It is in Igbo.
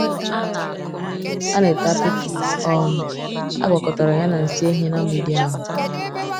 um A na ete apịtị um a gwakọtara ya na nsị ehi ná mgbidi ahụ.